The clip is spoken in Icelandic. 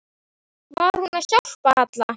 Var hún hjá Halla?